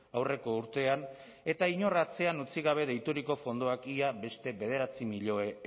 aurreko urtean eta inor atzean utzi gabe deituriko fondoak beste bederatzi milioi